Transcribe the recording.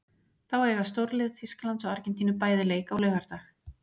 Þá eiga stórlið Þýskalands og Argentínu bæði leik á laugardag.